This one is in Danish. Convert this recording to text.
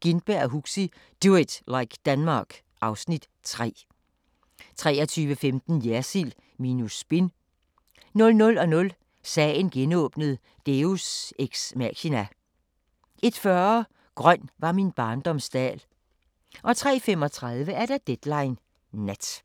Gintberg og Huxi – Do it like Denmark (Afs. 3) 23:15: Jersild minus spin 00:00: Sagen genåbnet: Deus ex machina 01:40: Grøn var min barndoms dal 03:35: Deadline Nat